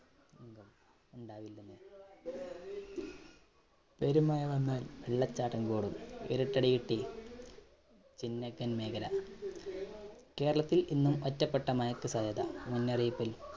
ഉണ്ടാവില്ലെന്ന്. മായി വന്നാല്‍ വെള്ളച്ചാട്ടങ്ങളോടും ഒരു തടി കിട്ടി. ചിന്നക്കന്‍ മേഖല, കേരളത്തില്‍ ഇന്നും ഒറ്റപ്പെട്ട മഴയ്ക്ക് സാധ്യത. മുന്നറിയിപ്പില്‍